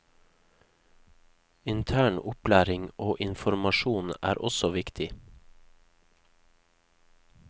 Intern opplæring og informasjon er også viktig.